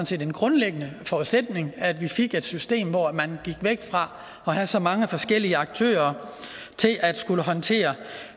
set en grundlæggende forudsætning at vi fik et system hvor man gik væk fra at have så mange forskellige aktører til at skulle håndtere